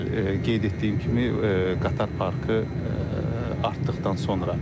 Bəli, qeyd etdiyim kimi qatar parkı artdıqdan sonra.